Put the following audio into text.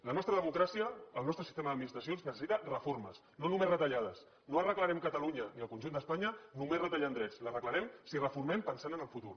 la nostra democràcia el nostre sistema d’administracions necessita reformes no només retallades no arreglarem catalunya ni el conjunt d’espanya només retallant drets l’arreglarem si reformem pensant en el futur